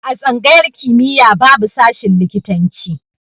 A tsangayar kimiya babu shashin likitan ci